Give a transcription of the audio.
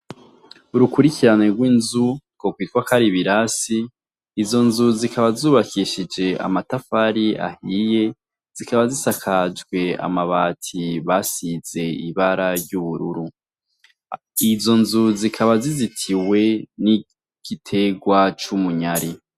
Urukurikirane rw'inzu ko kwitwa kari ibirasi izo nzu zikaba zubakishije amatafari ahiye zikaba zisakajwe amabati basize ibara ry'ubururu izo nzu zikaba zizitiwe n'igitegwa c'umunyari.